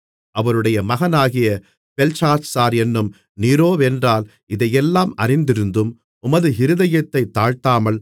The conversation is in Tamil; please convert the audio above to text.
அவருடைய மகனாகிய பெல்ஷாத்சார் என்னும் நீரோவென்றால் இதையெல்லாம் அறிந்திருந்தும் உமது இருதயத்தைத் தாழ்த்தாமல்